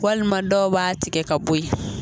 Walima dɔw b'a tigɛ ka bo ye.